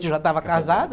já estava casada.